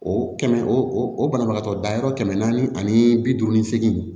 O kɛmɛ o banabagatɔ dayɔrɔ kɛmɛ naani ani bi duuru ni segin